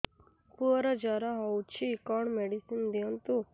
ପୁଅର ଜର ହଉଛି କଣ ମେଡିସିନ ଦିଅନ୍ତୁ